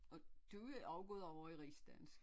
Og du er også gået over i rigsdansk